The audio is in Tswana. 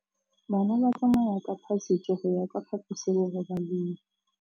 Bana ba tsamaya ka phašitshe go ya kwa phaposiborobalong.